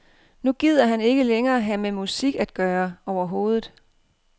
Nu gider han ikke længere have med musik at gøre overhovedet.